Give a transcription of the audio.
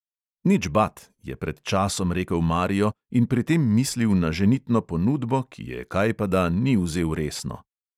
Nič bat, je pred časom rekel mario in pri tem mislil na ženitno ponudbo, ki je kajpada ni vzel resno.